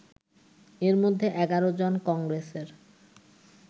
এর মধ্যে ১১ জন কংগ্রেসের